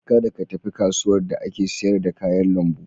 Kada ka tafi kasuwar da ake siyar da kayan lambu.